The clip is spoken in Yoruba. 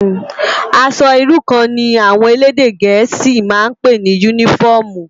Aṣò irú kàn ni áwòn élédè gẹẹsi mà n pé ni unifòmú